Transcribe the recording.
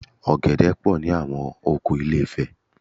Ọ̀gẹ̀dẹ̀ pọ̀ ní àwọn oko Ilé-ifẹ̀